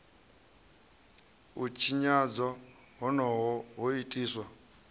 u tshinyadzwa honoho ho itiswa